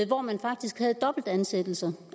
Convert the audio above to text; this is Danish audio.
hvor man faktisk havde dobbeltansættelser